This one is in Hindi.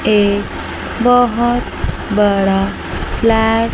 एक बहोत बड़ा फ्लैट ।